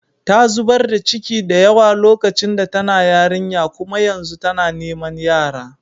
Ta zubar da ciki da yawa lokacin da tana yarinya kuma yanzu tana niman yara.